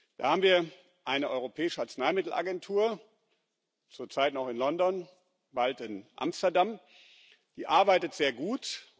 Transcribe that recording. Da haben wir eine Europäische Arzneimittelagentur zurzeit noch in London, bald in Amsterdam die arbeitet sehr gut.